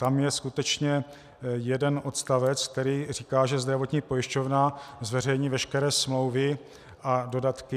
Tam je skutečně jeden odstavec, který říká, že zdravotní pojišťovna zveřejní veškeré smlouvy a dodatky.